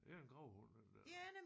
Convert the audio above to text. Det er en gravhund den der